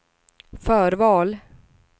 förval